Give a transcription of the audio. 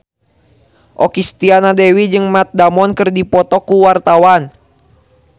Okky Setiana Dewi jeung Matt Damon keur dipoto ku wartawan